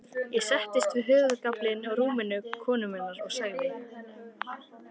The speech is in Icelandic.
Ég settist við höfðagaflinn á rúmi konu minnar og sagði